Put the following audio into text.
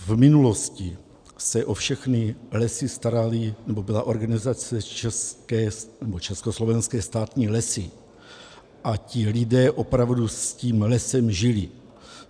V minulosti se o všechny lesy starala, nebo byla organizace Československé státní lesy a ti lidé opravdu s tím lesem žili.